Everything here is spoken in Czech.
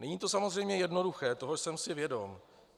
Není to samozřejmě jednoduché, toho jsem si vědom.